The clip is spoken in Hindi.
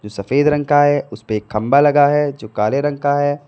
सफेद रंग का है उसे पे एक खंभा लगा है जो काले रंग का है।